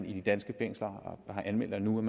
i de danske fængsler har anmeldt at nu er